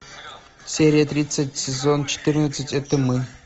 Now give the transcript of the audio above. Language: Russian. серия тридцать сезон четырнадцать это мы